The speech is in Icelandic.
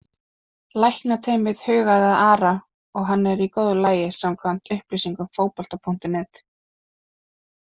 Læknateymið hugaði að Ara og hann er í góðu lagi samkvæmt upplýsingum Fótbolta.net.